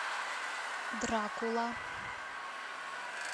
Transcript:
дракула